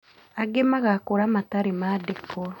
Angĩ magakũra matarĩ mandĩkwo